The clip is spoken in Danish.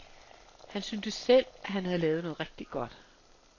Han syntes selv, han havde lavet noget rigtig godt.